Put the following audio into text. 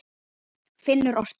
Finnur orti.